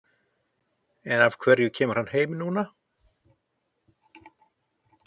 En af hverju kemur hann heim núna?